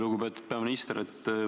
Lugupeetud peaminister!